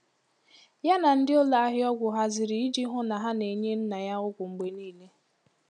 Ya na ndi ụlọ ahịa ọgwụ haziri iji hụ na a na-enye nna ya ọgwụ mgbe niile.